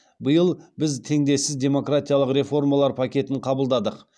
биыл біз теңдессіз демократиялық реформалар пакетін қабылдадық